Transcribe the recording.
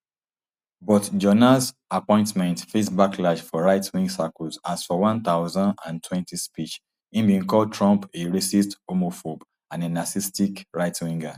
but jonas appointment face backlash for rightwing circles as for one two thousand and twenty speech im bin call trump a racist homophobe and a narcissistic rightwinger